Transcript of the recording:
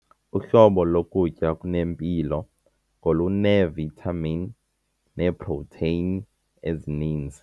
Uhlobo lokutya okunempilo ngoluneevithamini neeprotheyini ezininzi.